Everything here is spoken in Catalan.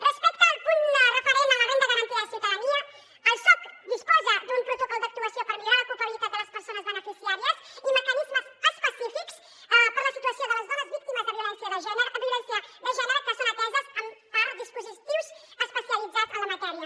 respecte al punt referent a la renda garantida de ciutadania el soc disposa d’un protocol d’actuació per millorar l’ocupabilitat de les persones beneficiàries i meca·nismes específics per a la situació de les dones víctimes de violència de gènere que són ateses per dispositius especialitzats en la matèria